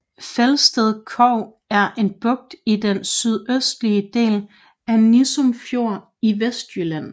Felsted Kog er en bugt i den sydøstlige del af Nissum Fjord i Vestjylland